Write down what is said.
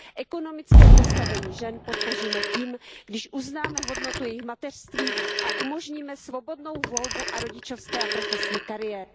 Ekonomické postavení žen podpoříme tím, když uznáme hodnotu jejich mateřství a umožníme svobodnou volbu rodičovské a profesní kariéry.